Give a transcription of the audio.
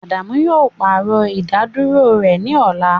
Adamu yoo paarọ idaduro rẹ ni ọla